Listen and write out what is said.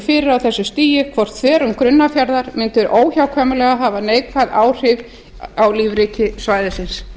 fyrir á þessu stigi hvort þverun grunnafjarðar mundi óhjákvæmilega hafa neikvæð áhrif á lífríki svæðisins